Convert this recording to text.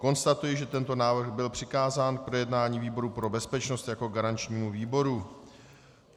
Konstatuji, že tento návrh byl přikázán k projednání výboru pro bezpečnost jako garančnímu výboru.